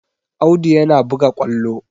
Audu yana buga ƙwallo